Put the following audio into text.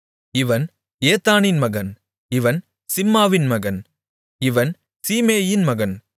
இவன் ஏத்தானின் மகன் இவன் சிம்மாவின் மகன் இவன் சீமேயின் மகன்